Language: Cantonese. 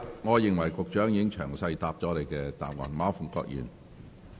我認為局長已詳細回答你的補充質詢。